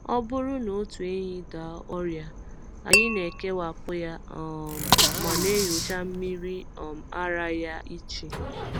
Ọ bụrụ na otu ehi daa ọrịa, anyị na-ekewapụ ya um ma na-enyocha mmiri um ara ya iche.